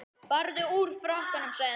Farðu úr frakkanum sagði hún.